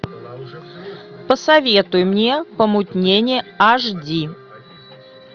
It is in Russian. посоветуй мне помутнение аш ди